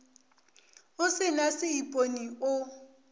o se na seipone o